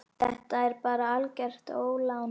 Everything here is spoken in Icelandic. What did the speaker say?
Þetta er bara algert ólán.